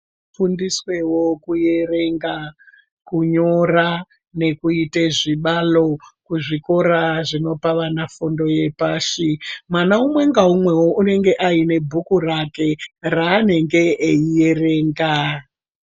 Vafundiswewo kuerenga kunyora nekuyite zvibalo kuzvikora zvinopa vana fundo yepashi, mwana umwe ngaumwewo unenge ayine bhuku rake raanenge eyiyerenga.